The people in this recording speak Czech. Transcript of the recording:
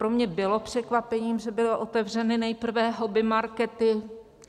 Pro mě bylo překvapením, že byly otevřeny nejprve hobbymarkety.